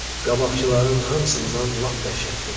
Qabaqçıların hamısından lap dəhşətlidir.